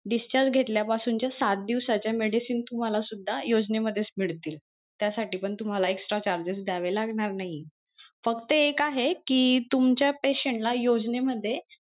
discharge घेतल्या पासून च्या सात दिवसाच्या medicines तुम्हाला सुद्धा योजनेतूनच मिळतील.